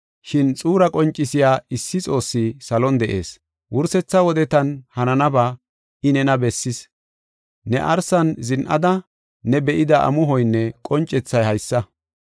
Shin xuura qoncisiya issi Xoossi salon de7ees. Wursetha wodetan hananaba I, nena bessis. Ne arsan zin7ada, ne be7ida amuhoynne qoncethay haysa.